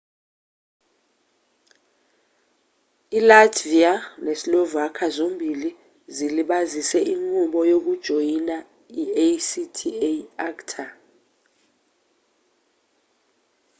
ilatvia neslovakia zombili zilibazise inqubo yokujoyina i-acta